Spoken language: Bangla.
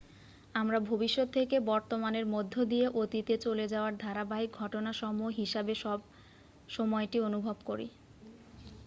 আমরা ভবিষ্যত থেকে বর্তমানের মধ্য দিয়ে অতীতে চলে যাওয়ার ধারাবাহিক ঘটনাসমূহ হিসাবে সময়টি অনুভব করি